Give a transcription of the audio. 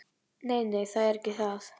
Nei, nei, það er ekki það.